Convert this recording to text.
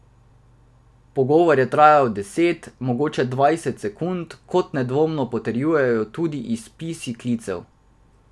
Pogovor je trajal deset, mogoče dvajset sekund, kot nedvomno potrjuje tudi izpis klicev.